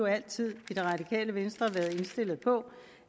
altid i det radikale venstre været indstillet på